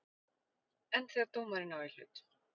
En þegar dómarinn á í hlut?